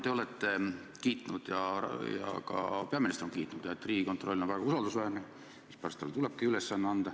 Te olete kiitnud ja ka peaminister on kiitnud, et Riigikontroll on väga usaldusväärne asutus, mispärast talle tulebki see ülesanne anda.